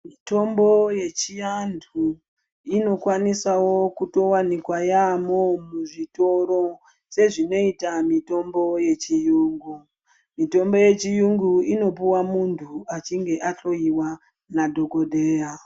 Mitombo yechiantu inokwanisawo kutowanikwa yambo muzvitoro sezvinoita mitombo yechirungu Muntu wechirungu unopuwa muntu achinge ahloiwa nadhokodheya.